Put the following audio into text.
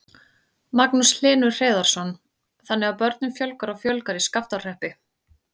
Magnús Hlynur Hreiðarsson: Þannig að börnum fjölgar og fjölgar í Skaftárhreppi?